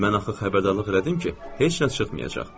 Mən axı xəbərdarlıq elədim ki, heç nə çıxmayacaq.